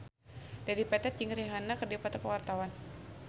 Dedi Petet jeung Rihanna keur dipoto ku wartawan